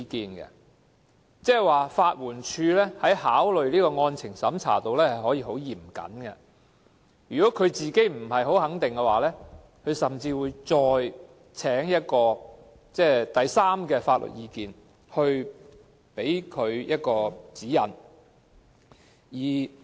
換言之，法援署進行案情審查時可以非常嚴謹，如本身不太肯定，甚至會尋求第三者的法律意見，以便提供指引。